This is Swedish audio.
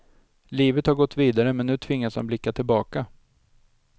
Livet har gått vidare men nu tvingas han blicka tillbaka.